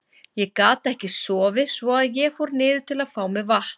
Ég gat ekki sofið svo að ég fór niður til að fá mér vatn.